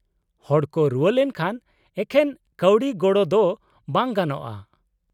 -ᱦᱚᱲ ᱠᱚ ᱨᱩᱣᱟᱹ ᱞᱮᱱᱠᱷᱟᱱ ᱮᱠᱷᱮᱱ ᱠᱟᱹᱣᱰᱤ ᱜᱚᱲᱚ ᱫᱚ ᱵᱟᱝ ᱜᱟᱱᱚᱜᱼᱟ ᱾